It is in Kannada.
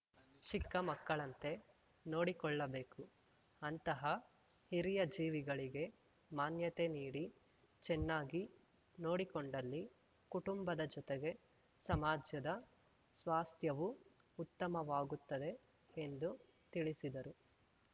ಚಿಕ್ಕ ಮಕ್ಕಳಂತೆ ನೋಡಿಕೊಳ್ಳಬೇಕು ಅಂತಹ ಹಿರಿಯ ಜೀವಗಳಿಗೆ ಮಾನ್ಯತೆ ನೀಡಿ ಚೆನ್ನಾಗಿ ನೋಡಿಕೊಂಡಲ್ಲಿ ಕುಟುಂಬದ ಜೊತೆಗೆ ಸಮಾಜದ ಸ್ವಾಸ್ಥ್ಯವೂ ಉತ್ತಮವಾಗುತ್ತದೆ ಎಂದು ತಿಳಿಸಿದರು